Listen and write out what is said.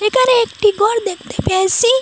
একানে একটি গর দেখতে পেয়েসি।